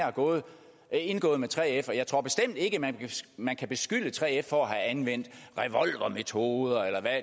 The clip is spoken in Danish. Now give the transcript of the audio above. er indgået med 3f og jeg tror bestemt ikke man man kan beskylde 3f for at have anvendt revolvermetoder